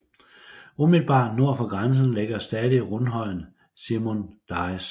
Umiddelbart nord for grænsen ligger stadig rundhøjen Simon Dyes